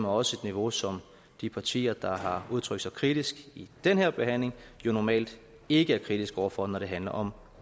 også et niveau som de partier der har udtrykt sig kritisk i den her behandling jo normalt ikke er kritiske over for når det handler om